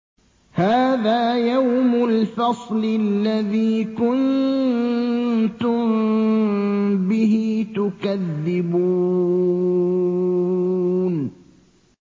هَٰذَا يَوْمُ الْفَصْلِ الَّذِي كُنتُم بِهِ تُكَذِّبُونَ